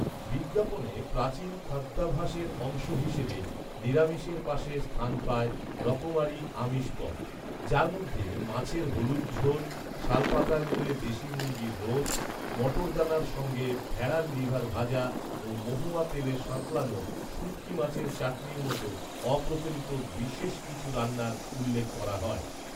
বিজ্ঞাপনে প্রাচীন খাদ্যাভ্যাসের অংশ হিসেবে নিরামিষের পাশে স্থান পায় রকমারি আমিষ পদ, যার মধ্যে মাছের হলুদঝোল, শালপাতায় মুড়ে দেশি মুরগির রোস্ট, মটরদানার সঙ্গে ভেড়ার লিভার ভাজা ও মহুয়া তেলে সাঁতলানো শুটকি মাছের চাটনির মতো অপ্রচলিত বিশষ কিছু রান্নার উল্লেখ করা হয়